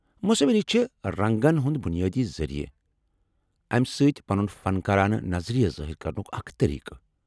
مصوری چھِ رنٛگن ہُنٛد بنیٲدی ذریعہٕ اَمہِ سۭتۍ پنُن فنکارانہٕ نظریہ ظٲہر کرنُک اکھ طریقہٕ۔